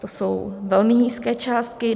To jsou velmi nízké částky.